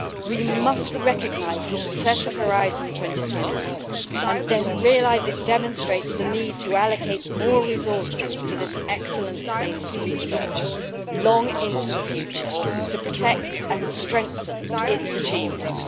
We must recognise the success of Horizon 2020 and realise it demonstrates the need to allocate more resources to this excellence based research long into the future to protect and strengthen its achievements.